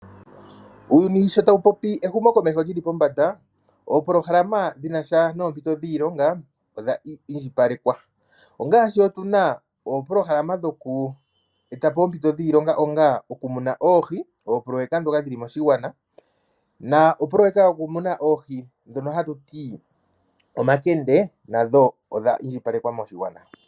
Uuyuni sho tawu popi ehumokomeho li li pombanda, oopolohalama dhi na sha noompito dhiilonga odha indjipalekwa. Ongaashi otu na oopolohalama dhoku eta po oompito dhiilonga onga okumuna oohi, oopoloyeka ndhoka dhi li moshigwana noopoloyeka ndhoka dhokumuna oohi ndhoka hatu ti omakende odha indjipalekwa moshigwana.